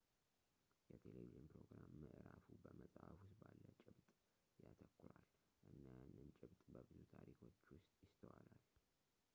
የቴለቪዥን ፕሮግራም ምዕራፉ በመጽሀፍ ውስጥ ባለ ጭብጥ ያተኩራል እና ያንን ጭብጥ በብዙ ታሪኮች ውስጥ ይስተዋላል